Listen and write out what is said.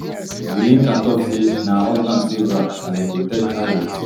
zulinka tok say na her husband save her as e protect her wit